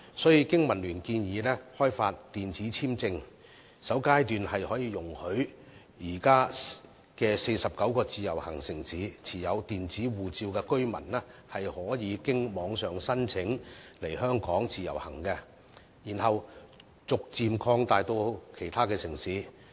所以，經民聯建議開發電子簽證，在首階段容許現時49個自由行城市中持有電子護照的居民，可以經由網上申請來港自由行，然後逐漸擴及其他城市。